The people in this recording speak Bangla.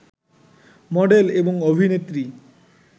মডেল, এবং অভিনেত্রী